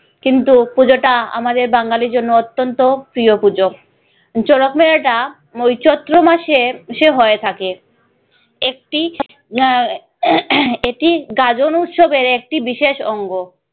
কিন্তু পুজোটা আমাদের বাঙ্গালীর জন্য অত্যন্ত প্রিয় পুজো। শরৎ মেলাটা ঐ চৈত্র মাসের শেষে হয়ে থাকে। একটি আহ এটি গাজন উৎসবের একটি বিশেষ অঙ্গ।